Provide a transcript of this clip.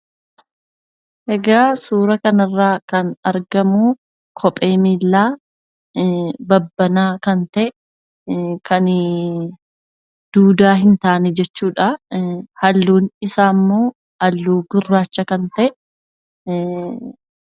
Egaa suura kanarraa kan argamu kophee miillaa babbanaa kan ta'e, kani duudaa hin taane jechuudha. Halluun isaammoo halluu gurraacha kan ta'e.